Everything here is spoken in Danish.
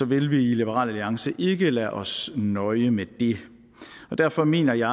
vil vi i liberal alliance ikke lade os nøje med det og derfor mener jeg